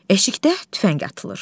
Eşikdə tüfəng atılır.